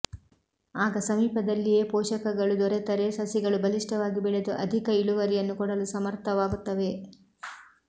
ಆಗ ಸಮೀಪದಲ್ಲಿಯೇ ಪೋಷಕಗಳು ದೊರೆತರೆ ಸಸಿಗಳು ಬಲಿಷ್ಠವಾಗಿ ಬೆಳೆದು ಅಧಿಕ ಇಳುವರಿಯನ್ನು ಕೊಡಲು ಸಮರ್ಥವಾಗುತ್ತವೆ